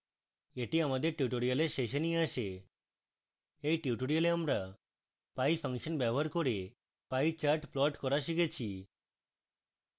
এটি আমাদের tutorial শেষে নিয়ে আসে